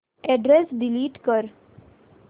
address delete कर